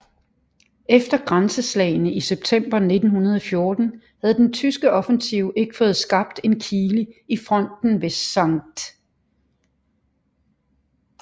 Efter grænseslagene i september 1914 havde den tyske offensiv ikke fået skabt en kile i fronten ved St